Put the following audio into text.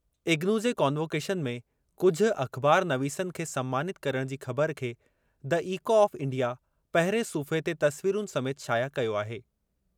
इग्नू जे कॉन्वोकेशन में कुझु अख़बारनवीसनि खे सन्मानित करणु जी ख़बरु खे द इको ऑफ़ इंडिया पहिरिएं सुफ़्हे ते तस्वीरुनि समेति शाया कयो आहे।